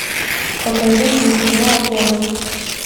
покажи мне кино оторвы